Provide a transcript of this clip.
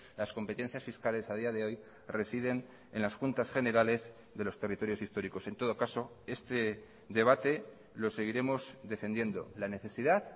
las competencias fiscales a día de hoy residen en las juntas generales de los territorios históricos en todo caso este debate lo seguiremos defendiendo la necesidad